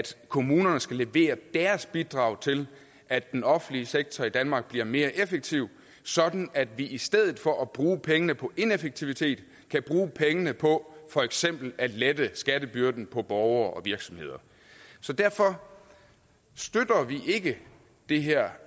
kommunerne skal levere deres bidrag til at den offentlige sektor i danmark bliver mere effektiv sådan at vi i stedet for at bruge pengene på ineffektivitet kan bruge pengene på for eksempel at lette skattebyrden på borgere og virksomheder derfor støtter vi ikke det her